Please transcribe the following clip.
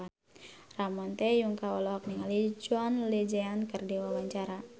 Ramon T. Yungka olohok ningali John Legend keur diwawancara